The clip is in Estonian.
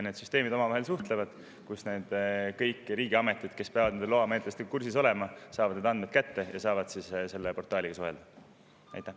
Need süsteemid suhtlevad omavahel ja kõik need riigiametid, kes peavad loamenetlustega kursis olema, saavad selle portaaliga suheldes andmed kätte.